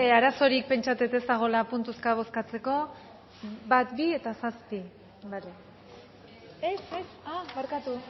arazorik pentsatzen dut ez dagoela puntuzka bozkatzeko bat bi eta zazpi ez barkatu